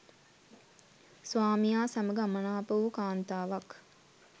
ස්වාමියා සමඟ අමනාප වූ කාන්තාවක්